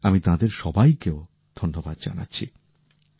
আমি তাঁদের সবাইকেও ধন্যবাদ জানাচ্ছি